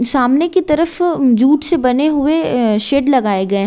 सामने की तरफ जूट से बने हुए शेड लगाए गए --